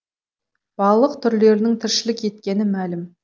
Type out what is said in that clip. балық түрлерінің тіршілік еткені мәлім